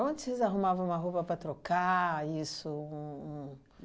Onde vocês arrumavam uma roupa para trocar isso um um?